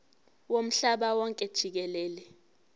womhlaba wonke jikelele